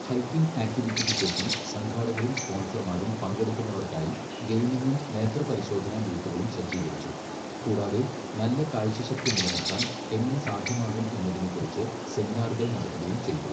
Hiking ആക്റ്റിവിറ്റിക്ക് ശേഷം, സംഘാടകരും സ്പോൺസർമാരും പങ്കെടുക്കുന്നവർക്കായി ഗെയിമിംഗും നേത്രപരിശോധനാ ബൂത്തുകളും സജ്ജീകരിച്ചു, കൂടാതെ നല്ല കാഴ്ചശക്തി നിലനിർത്താൻ എങ്ങനെ സാധ്യമാകും എന്നതിനെക്കുറിച്ച് സെമിനാറുകൾ നടത്തുകയും ചെയ്തു.